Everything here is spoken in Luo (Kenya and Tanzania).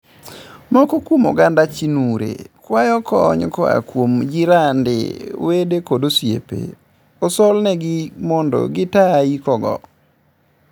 Moko kuom oganda chinure kwayo kony koaa kuom jirande ,wede kod osiepe osolnegi mond gitaa iiko go.